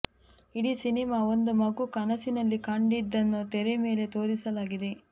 ಇಡೀ ಸಿನಿಮಾ ಒಂದು ಮಗು ಕನಸಿನಲ್ಲಿ ಕಂಡಿದ್ದನ್ನು ತೆರೆ ಮೇಲೆ ತೋರಿಸಲಾಗಿದೆ